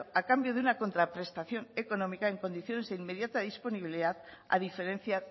a cambio de una contraprestación económica en condiciones de inmediata disponibilidad a diferencia